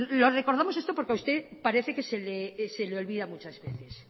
le recordamos esto porque a usted parece que se le olvida muchas veces